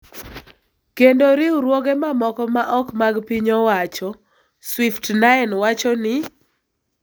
kendo riwruoge mamoko ma ok mag piny owacho, Swift9 wacho ni.